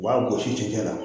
U b'a gosi cɛncɛn na